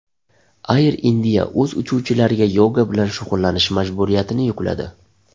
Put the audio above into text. Air India o‘z uchuvchilariga yoga bilan shug‘ullanish majburiyatini yukladi.